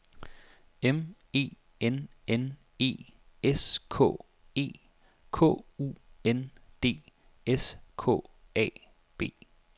M E N N E S K E K U N D S K A B